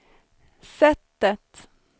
sättet